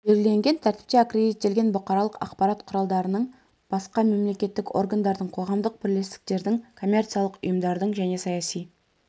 белгіленген тәртіпте аккредиттелген бұқаралық ақпарат құралдарының басқа мемлекеттік органдардың қоғамдық бірлестіктердің коммерциялық ұйымдардың және саяси